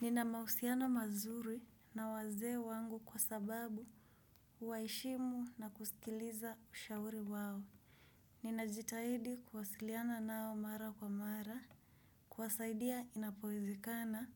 Nina mahusiano mazuri na wazee wangu kwa sababu uwaheshimu na kusikiliza ushauri wao. Ninajitahidi kuwasiliana nao mara kwa mara. Kuwasaidia inapoezekana